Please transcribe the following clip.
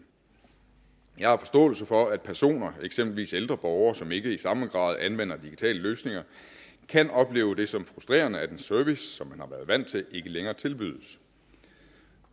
jeg har forståelse for at personer eksempelvis ældre borgere som ikke i samme grad anvender digitale løsninger kan opleve det som frustrerende at en service som man har været vant til ikke længere tilbydes